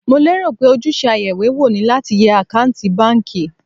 Mo lérò pé ojúṣe ayeìwéwò ni láti yẹ àkántì báńkì.